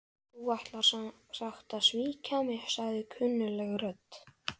Þú ætlar sem sagt að svíkja mig- sagði kunnugleg rödd.